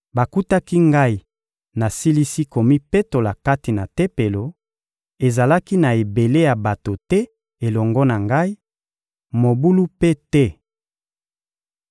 Bakutaki ngai nasilisi komipetola kati na Tempelo; ezalaki na ebele ya bato te elongo na ngai, mobulu mpe te.